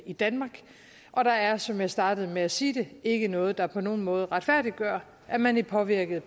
i danmark og der er som jeg startede med at sige ikke noget der på nogen måde retfærdiggør at man i påvirket